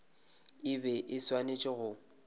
e be e swanetše go